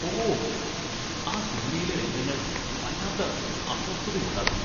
ഓഹ്! ആ സിനിമയിലെ രംഗങ്ങള്‍ വല്ലാത്ത അസ്വസ്ഥതയുണ്ടാക്കുന്നു.